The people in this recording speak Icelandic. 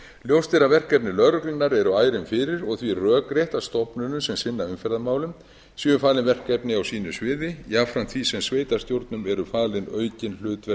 ljóst er að verkefni lögreglunnar eru ærin fyrir og því rökrétt að stofnunum sem sinna umferðarmálum séu falin verkefni á sínu sviði jafnframt því sem sveitarstjórnum eru falin aukin hlutverk